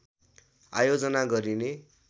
आयोजना गरिने